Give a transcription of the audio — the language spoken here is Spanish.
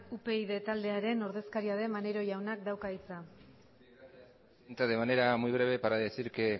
upyd taldearen ordezkaria den maneiro jaunak dauka hitza entro de manera muy breve para decir que